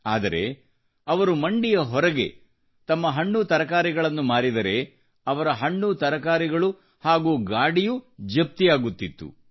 ಆದರೆ ಅವರು ಮಂಡಿಯ ಹೊರಗೆ ತಮ್ಮ ಹಣ್ಣು ತರಕಾರಿಗಳನ್ನು ಮಾರಿದರೆ ಅವರ ಹಣ್ಣುತರಕಾರಿಗಳು ಹಾಗೂ ಗಾಡಿಯೂ ಜಪ್ತಿಯಾಗುತ್ತಿತ್ತು